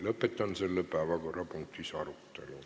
Lõpetan selle päevakorrapunkti arutelu.